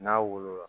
N'a wolo la